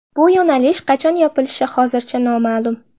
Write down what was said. Bu yo‘nalish qachon yopilishi hozircha noma’lum.